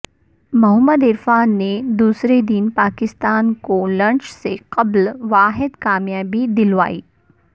محمد عرفان نے دوسرے دن پاکستان کو لنچ سے قبل واحد کامیابی دلوائی